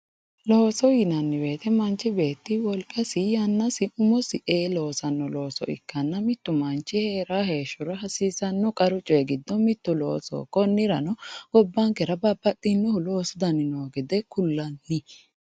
Looso yinanni woyiite manchi beetti wolqasi yannasi umosi ee loosanno looso ikkanna mittu manchi heeraa heeshshora hasiisanno qaru cooyi giddo mittu loosoho. Konnirano gobbankera babbaxinohu loosu dani noo gede kullanni